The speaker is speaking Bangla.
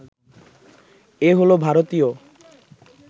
এ হলো ভারতীয়